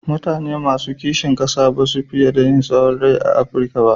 Mutane masu kisin ƙasa ba su fiye yin tsahon rai a Afirika ba.